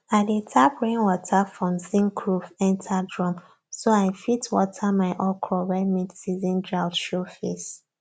i dey tap rainwater from zinc roof enter drum so i fit water my okro when midseason drought show face